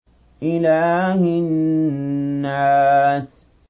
إِلَٰهِ النَّاسِ